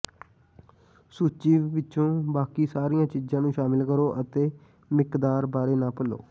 ਸੂਚੀ ਵਿੱਚੋਂ ਬਾਕੀ ਸਾਰੀਆਂ ਚੀਜ਼ਾਂ ਨੂੰ ਸ਼ਾਮਲ ਕਰੋ ਅਤੇ ਮਿਕਦਾਰ ਬਾਰੇ ਨਾ ਭੁੱਲੋ